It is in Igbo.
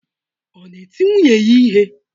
Ọ na-eti nwunye ya ihe?